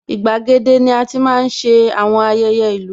Igbàgede ni ati máa ń ṣe àwọn ayẹyẹ ìlú